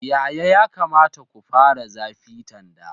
Yaya ya kamata ku fara zafi tanda?